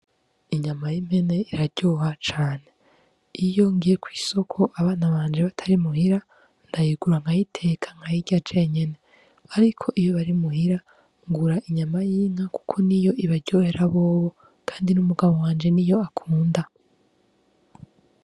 Inyama y'impene iraryoha cane. Iyo ngiye kw'isoko abana banje batari muhira, ndayigura nkayiteka nkayirya jenyene. Ariko iyo bari muhira, ngura inyama y'inka kuko niyo ibaryohera bobo, kandi n'umugabo wanje niyo akunda.